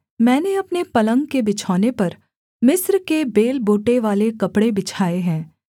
मैंने अपने पलंग के बिछौने पर मिस्र के बेलबूटेवाले कपड़े बिछाए हैं